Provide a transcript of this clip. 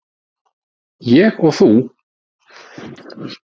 Ég og þú!